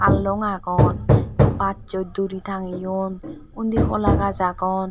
hallong agong bassoi duri tangiyon undi hola gaj agon.